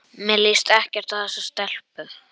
Mér líst ekkert á þessa stelpu.